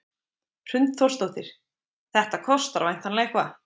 Hrund Þórsdóttir: Þetta kostar væntanlega eitthvað?